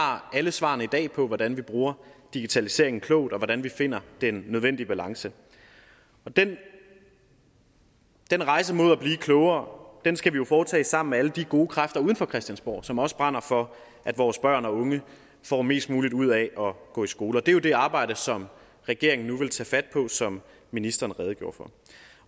har alle svarene på hvordan vi bruger digitaliseringen klogt og hvordan vi finder den nødvendige balance den den rejse mod at blive klogere skal vi jo foretage sammen med alle de gode kræfter uden for christiansborg som også brænder for at vores børn og unge får mest muligt ud af at gå i skole det er jo det arbejde som regeringen nu vil tage fat på som ministeren redegjorde for